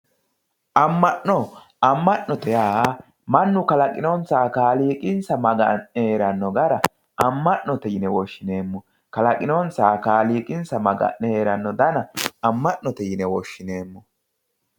Ama'no ama'note yaa mannu kalaqinonsaha kaaliiqi maga'ne heerano gara ama'note yine woshshineemmo kalaqinonsaha kaaliiqi Maga'ne heerano dana ama'note yine woshshineemmo.